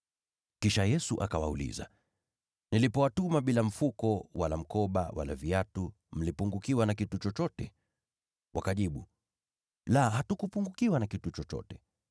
Kisha Yesu akawauliza, “Nilipowatuma bila mfuko, wala mkoba, wala viatu, mlipungukiwa na kitu chochote?” Wakajibu, “La, hatukupungukiwa na kitu chochote.”